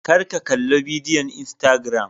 kar ka Kalli bidiyon Instagram